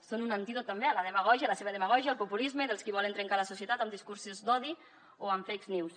són un antídot també a la demagògia a la seva demagògia al populisme dels qui volen trencar la societat amb discursos d’odi o amb fake news